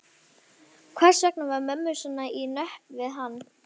Hvers vegna var mönnum svo í nöp við hann?